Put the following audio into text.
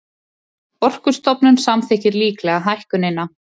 Orkustofnun samþykkir líklega hækkunina